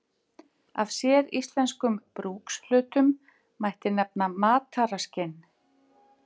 Af séríslenskum brúkshlutum mætti nefna mataraskinn.